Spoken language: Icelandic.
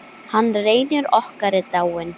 Hann Reynir okkar er dáinn.